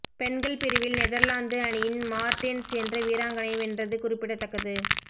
பெண்கள் பிரிவில் நெதர்லாந்து அணியின் மார்டேன்ஸ் என்ற வீராங்கனை வென்றது குறிப்பிடத்தக்கது